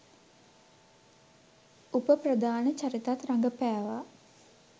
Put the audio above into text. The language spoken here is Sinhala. උප ප්‍රධාන චරිතත් රඟපෑවා